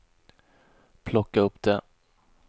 plocka upp det